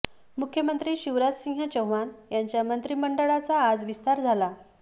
मुख्यमंत्री शिवराजसिंह चौहान यांच्या मंत्रिमंडळाचा आज विस्तार झाला